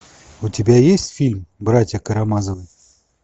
у тебя есть фильм братья карамазовы